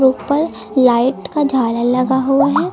ऊपर लाइट का झालर लगा हुआ है।